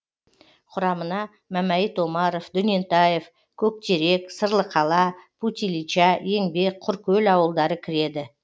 құрамына мәмәйіт омаров дөнентаев көктерек сырлықала путь ильича еңбек құркөл ауылдары кіреді